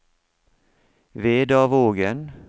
Vedavågen